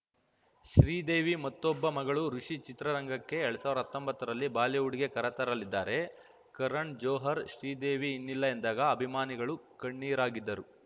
ಶ್ರೀದೇವಿ ಮತ್ತೊಬ್ಬ ಮಗಳು ಋಷಿ ಚಿತ್ರರಂಗಕ್ಕೆ ಎರಡ್ ಸಾವಿರ ಹತ್ತೊಂಬತ್ತುರಲ್ಲಿ ಬಾಲಿವುಡ್‌ಗೆ ಕರೆತರಲಿದ್ದಾರೆ ಕರಣ್‌ ಜೋಹರ್‌ ಶ್ರೀದೇವಿ ಇನ್ನಿಲ್ಲ ಎಂದಾಗ ಅಭಿಮಾನಿಗಳು ಕಣ್ಣೀರಾಗಿದ್ದರು